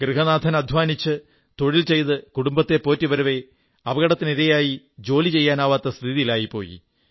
ഗൃഹനാഥൻ അധ്വാനിച്ച് തൊഴിൽ ചെയ്ത് കുടുംബത്തെ പോറ്റി വരവെ അപകടത്തിനിരയായായി ജോലി ചെയ്യാനാവാത്ത സ്ഥിതിയിലായിപ്പോയി